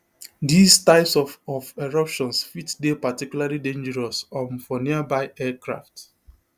these types of of eruptions fit dey particularly dangerous um for nearby aircraft